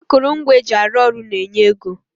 Akụrụngwa eji arụ ọrụ na-enye ego